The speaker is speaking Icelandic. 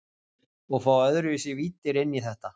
Og fá öðruvísi víddir inn í þetta.